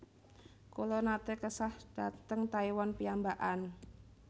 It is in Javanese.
Kula nate kesah dhateng Taiwan piyambakan